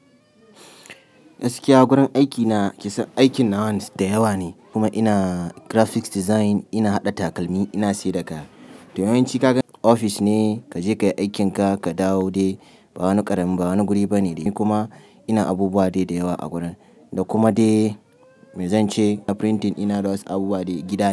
Gaskiya gurin aiki na kisan aikin nawan da yawa ne, kuma ina graphics design, ina haɗa takalmi, ina saida kaya. To yawanci kaga ofis ne kaje kayi aikinka ka dawo dai, ba wani ƙaramin bawani guri bane dai. Kuma ina abubuwa dai da yawa a gurin, da kuma de mai zan ce na printing ɗina da wasu abubuwa dai gidana.